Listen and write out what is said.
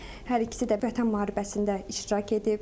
Hər ikisi də Vətən müharibəsində iştirak edib.